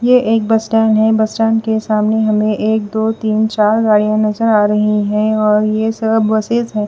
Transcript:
यह एक bus stand है बस स्टैंड के सामने हमें एक दो तीन चार गाड़ियां नजर आ रही हैं और ये सब बसेस हैं।